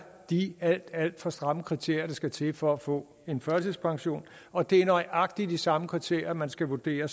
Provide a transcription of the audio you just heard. de alt alt for stramme kriterier der skal til for at få en førtidspension og det er nøjagtig de samme kriterier man skal vurdere